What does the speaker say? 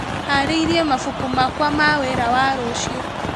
Harĩirie mabuku makwa ma wĩra wa rũciũ.